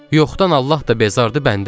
Yoxdan Allah da bezardı, bəndə də.